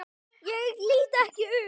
Ég lít ekki upp.